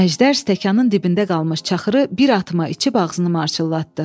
Əjdər stəkanın dibində qalmış çaxırı bir atıma içib ağzını marçıllatdı.